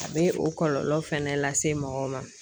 A bɛ o kɔlɔlɔ fɛnɛ lase mɔgɔw ma